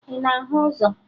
Ị na-ahụ ụzọ?